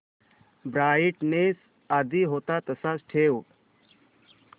brightness आधी होता तसाच ठेव